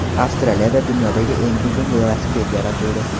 Avstraliyada dunyodagi eng uzun velosiped yaratildi .